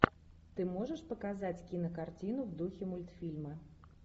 ты можешь показать кинокартину в духе мультфильма